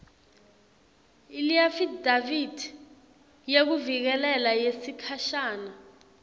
leafidavithi yekuvikeleka yesikhashana